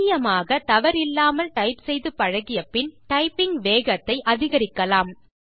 துல்லியமாக தவறில்லாமல் டைப் செய்து பழகிய பின் டைப்பிங் வேகத்தை அதிகரிக்கலாம்